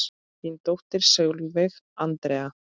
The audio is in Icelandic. Þín dóttir Sólveig Andrea.